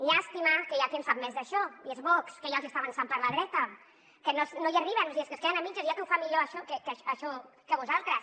llàstima que hi ha qui en sap més d’això i és vox que ja els està avançant per la dreta que no hi arriben o sigui és que es queden a mitges hi ha qui ho fa millor això que vosaltres